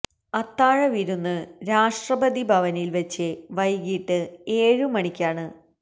അത്താഴ വിരുന്ന് രാഷ്ട്രപതി ഭവനിൽ വച്ച് വൈകിട്ട് ഏഴ് മണിക്കാണ്